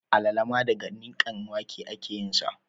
Alala ma daga nikakken wake ake yin sa